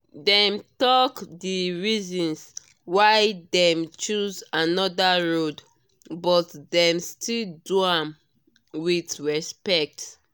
dem talk di reasons why dem choose another road but dem still do am with respect.